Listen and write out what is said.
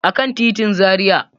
A kan titin Zaria.